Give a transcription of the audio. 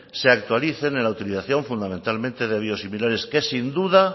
se actualicen en la utilización fundamentalmente de biosimilares que sin duda